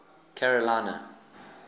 carolina